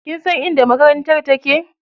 Kinsan inda makarantar take?